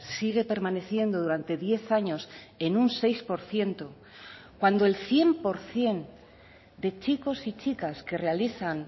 sigue permaneciendo durante diez años en un seis por ciento cuando el cien por ciento de chicos y chicas que realizan